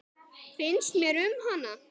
Finnst mér um hana?